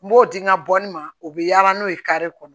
N b'o di n ka bɔli ma o bɛ yaala n'o ye kare kɔnɔ